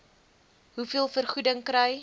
hoeveel vergoeding kry